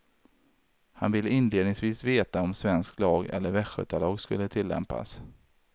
Han ville inledningsvis veta om svensk lag eller västgötalag skulle tillämpas.